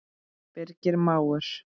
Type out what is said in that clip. Birgir mágur.